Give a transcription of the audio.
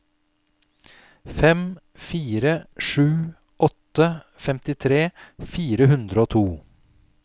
fem fire sju åtte femtitre fire hundre og to